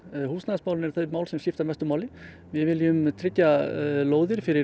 húsnæðismálin eru þau mál sem skipta mestu máli við viljum tryggja lóðir fyrir